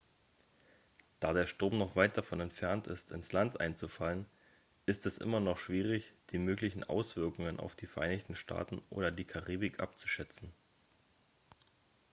da der sturm noch weit davon entfernt ist ins land einzufallen ist es immer noch schwierig die möglichen auswirkungen auf die vereinigten staaten oder die karibik abzuschätzen